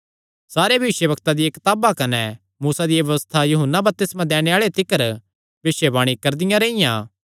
सारे भविष्यवक्तां दियां कताबां कने मूसा दी व्यबस्था यूहन्ना बपतिस्मा दैणे आल़े तिकर भविष्यवाणी करदियां रेईयां